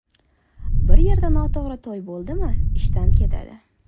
Bir yerda noto‘g‘ri to‘y bo‘ldimi, ishdan ketadi.